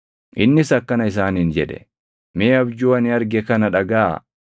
Innis akkana isaaniin jedhe; “Mee abjuu ani arge kana dhagaʼaa: